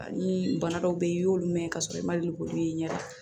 Ani bana dɔw be yen i y'olu mɛn k'a sɔrɔ i ma deli k'olu ye ɲɛda